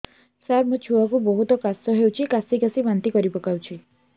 ସାର ମୋ ଛୁଆ କୁ ବହୁତ କାଶ ହଉଛି କାସି କାସି ବାନ୍ତି କରି ପକାଉଛି